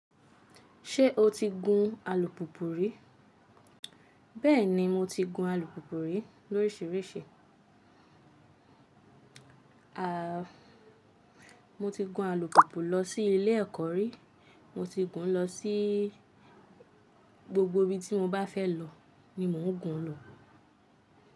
Ṣé o ti gun alùpùpù rí? Bẹ́ẹ̀ni, mo ti gun alùpùpù rí lóriṣìíríṣìí. A, mo ti gun alùpùpù lọ sí ilé ẹ̀kọ́ rí, mo ti gun ún lọ sí gbogbo ibi tí mo bá fẹ́ lọ ni mo ń gun ún lọ.